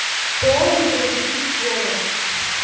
кто угодит в голову